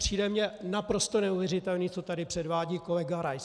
Přijde mi naprosto neuvěřitelné, co tady předvádí kolega Rais.